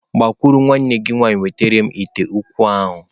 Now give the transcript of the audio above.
Gbakwuru nwanne gi nwaanyị wetara m ite ukwu ahu!.